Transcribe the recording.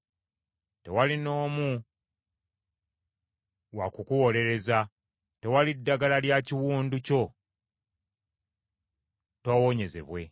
Tewali n’omu wa kukuwolereza, tewali ddagala lya kiwundu kyo, toowonyezebwe.